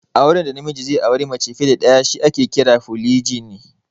Auren da namiji ze auri mace fiya da ɗaya shi ake kira 'Folijini'